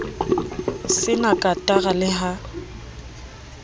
se na katara le ha